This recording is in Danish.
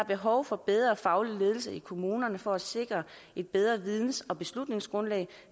behov for bedre faglig ledelse i kommunerne for at sikre et bedre videns og beslutningsgrundlag